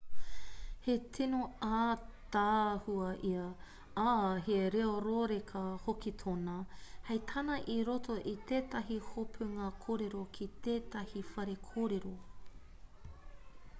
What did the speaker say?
he tino ātaahua ia ā he reo rōreka hoki tōna hei tāna i roto i tētahi hopunga kōrero ki tētahi whare kōrero